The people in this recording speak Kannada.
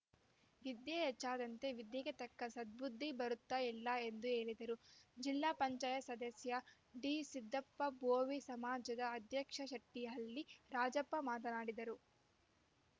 ವಿದ್ಯೆ ಹೆಚ್ಚಾದಂತೆ ವಿದ್ಯೆಗೆ ತಕ್ಕ ಸದ್ಬುದ್ದಿ ಬರುತ್ತಾ ಇಲ್ಲ ಎಂದು ಹೇಳಿದರು ಜಿಲ್ಲಾ ಪಂಚಾಯತ್ ಸದಸ್ಯ ಡಿಸಿದ್ದಪ್ಪ ಬೋವಿ ಸಮಾಜದ ಅಧ್ಯಕ್ಷ ಚಟ್ನಿಹಳ್ಳಿ ರಾಜಪ್ಪ ಮಾತನಾಡಿದರು